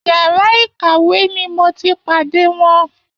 Yàrá ìkàwé ni mo ti pàdé wọn